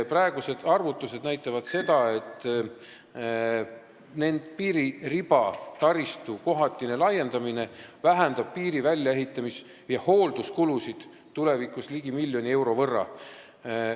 Praegused arvutused näitavad, et piiririba kohatine laiendamine vähendab piiri väljaehitamis- ja hoolduskulusid tulevikus ligi miljoni euro võrra.